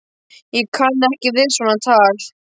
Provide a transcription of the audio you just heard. Ég kann ekki við svona tal!